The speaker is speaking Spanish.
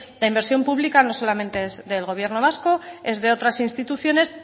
la inversión pública no solamente es del gobierno vasco es de otras instituciones